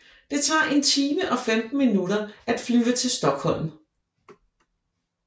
Det tager 1 time og 15 minutter at flyve til Stockholm